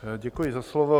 Děkuji za slovo.